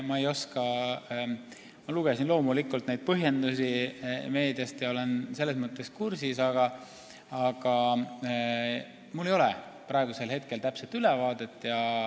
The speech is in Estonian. Ma loomulikult lugesin neid põhjendusi meediast ja olen selles mõttes asjaga kursis, aga mul ei ole praegu täpset ülevaadet.